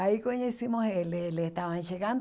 Aí conhecimos eles, eles estavam chegando.